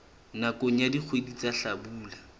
nakong ya dikgwedi tsa hlabula